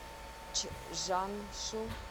чжаншу